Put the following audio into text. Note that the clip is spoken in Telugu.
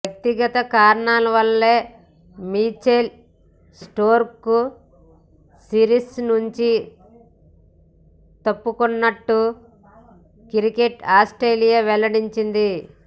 వ్యక్తగత కారణాల వల్లే మిచెల్ స్టార్క్ సిరిస్ నుంచి తప్పుకొన్నట్లు క్రికెట్ ఆస్ట్రేలియా వెల్లడించింది